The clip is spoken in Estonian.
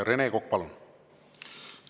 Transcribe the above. Rene Kokk, palun!